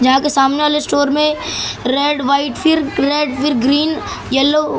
यहां के सामने वाले स्टोर में रेड व्हाइट फिर रेड फिर ग्रीन येलो --